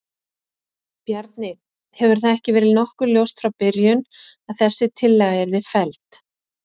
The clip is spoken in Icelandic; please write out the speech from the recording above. Bjarni, hefur það ekki verið nokkuð ljóst frá byrjun að þessi tillaga yrði felld?